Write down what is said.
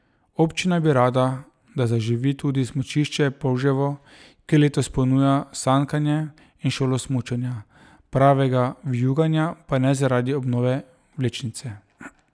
Občina bi rada, da zaživi tudi smučišče Polževo, ki letos ponuja sankanje in šolo smučanja, pravega vijuganja pa ne zaradi obnove vlečnice.